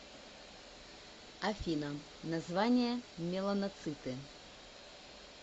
афина название меланоциты